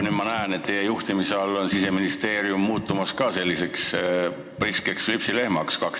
Ma näen, et teie juhtimise all on Siseministeerium ka selliseks priskeks lüpsilehmaks muutumas.